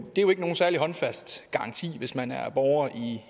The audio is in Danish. jo ikke nogen særlig håndfast garanti hvis man er borger